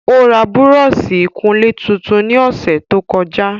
Ó ra Búrọ́ọ̀sì ìkunlé tuntun ní ọ̀sẹ̀ tó kọjá